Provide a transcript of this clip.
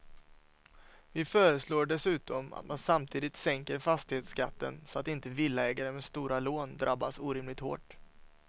Vi föreslår dessutom att man samtidigt sänker fastighetsskatten så att inte villaägare med stora lån drabbas orimligt hårt.